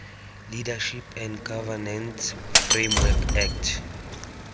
leadership and governance framework act